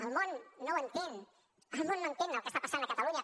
el món no ho entén el món no entén el que està passant a catalunya